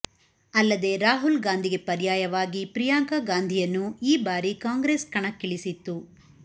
ಅಲ್ಲದೆ ರಾಹುಲ್ ಗಾಂಧಿಗೆ ಪರ್ಯಾಯವಾಗಿ ಪ್ರಿಯಾಂಕ ಗಾಂಧಿಯನ್ನೂ ಈ ಭಾರಿ ಕಾಂಗ್ರೆಸ್ ಕಣಕ್ಕಿಳಿಸಿತ್ತು